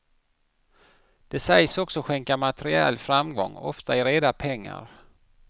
Den sägs också skänka materiell framgång, ofta i reda pengar.